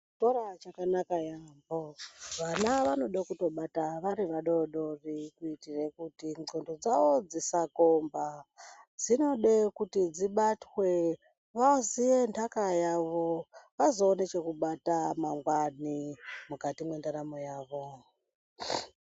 Chikora chakanaka yaho vana vanoda kubata vatori vadodori kuitire kuti ndxondo dzavo dzisakomba dzinoda kuti dzibatwe vazive nhaka yavo vazoona chekubata mangwani mukati mwendaramo yavo .